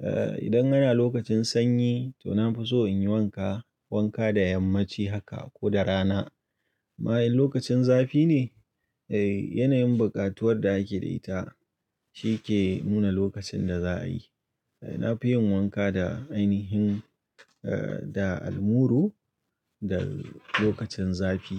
Eh idan ana lokacin sanyi to na fi so in yi wanka, wanka da yammaci haka ko da rana. Ma in lokacin zafi ne eh yanayin buƙatuwar da ake da ita shi ke nuna lokacin da za a yi. Eh na fi yin wanka da ainihin eh da almuru da lokacin zafi.